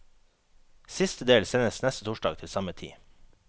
Siste del sendes neste torsdag til samme tid.